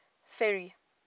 ferry